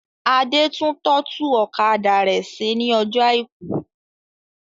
Adé tún tọ́tù ọ̀kadà rẹ ṣe ní ọjọ̀ àìkú.